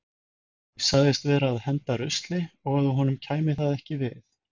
Ég sagðist vera að henda rusli og að honum kæmi það ekki við.